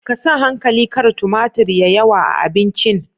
Ka sa hankali kar tumatir ya yawa a abincin